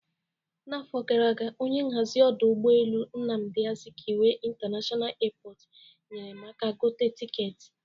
N'afọ gara aga, onye nhazi ọdụ ụgbọ elu Nnamdi Azikiwe International Airport nyere m aka gote tiketi.